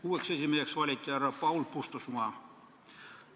Uueks esimeheks valiti härra Paul Puustusmaa.